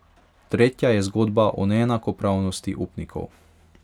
Tretja je zgodba o neenakopravnosti upnikov.